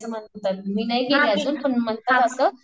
मी नाही गेली पण म्हणतात असं